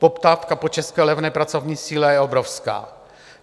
Poptávka po české levné pracovní síle je obrovská.